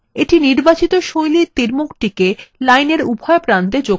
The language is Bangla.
এইটা নির্বাচিত style তীরমুখটিকে line এর উভয় প্রান্তএ যোগ করবে